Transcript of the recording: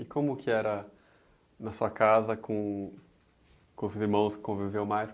E como que era na sua casa com, com os irmãos que conviveu mais?